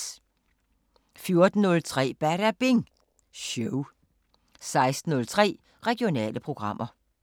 14:03: Badabing Show 16:03: Regionale programmer